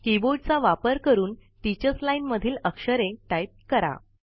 कीबोर्डचा वापर करून teachers line मधील अक्षरे टाईप करा